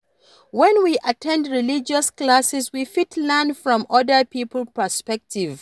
When we at ten d religious classes we fit learn from oda pipo perspective